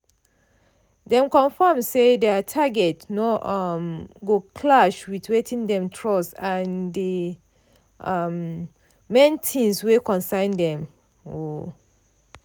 dem confirm say their targets no um go clash with wetin dem trust and di um main things wey concern dem. um